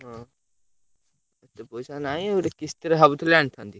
ହଁ ଏତେ ପଇସା ନାହି ଗୋଟେ କିସ୍ତିରେ ଭାବୁଥିଲି ଆଣିଥାନ୍ତି।